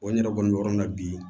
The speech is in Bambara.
Wa n yɛrɛ kɔni bɛ yɔrɔ min na bi